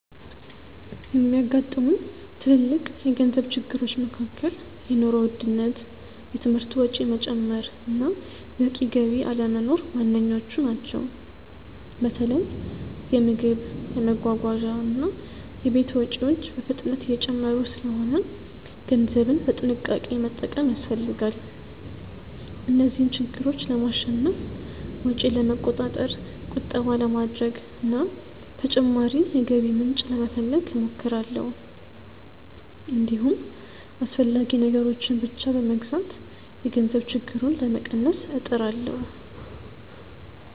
የሚያጋጥሙኝ ትልልቅ የገንዘብ ችግሮች መካከል የኑሮ ውድነት፣ የትምህርት ወጪ መጨመር እና በቂ ገቢ አለመኖር ዋነኞቹ ናቸው። በተለይ የምግብ፣ የመጓጓዣ እና የቤት ወጪዎች በፍጥነት እየጨመሩ ስለሆነ ገንዘብን በጥንቃቄ መጠቀም ያስፈልጋል። እነዚህን ችግሮች ለማሸነፍ ወጪን ለመቆጣጠር፣ ቁጠባ ለማድረግ እና ተጨማሪ የገቢ ምንጭ ለመፈለግ እሞክራለሁ። እንዲሁም አስፈላጊ ነገሮችን ብቻ በመግዛት የገንዘብ ችግሩን ለመቀነስ እጥራለሁ።